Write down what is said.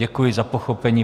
Děkuji za pochopení.